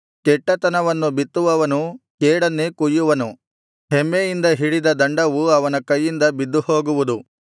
ಕೆಟ್ಟತನವನ್ನು ಬಿತ್ತುವವನು ಕೇಡನ್ನೇ ಕೊಯ್ಯುವನು ಹೆಮ್ಮೆಯಿಂದ ಹಿಡಿದ ದಂಡವು ಅವನ ಕೈಯಿಂದ ಬಿದ್ದುಹೋಗುವುದು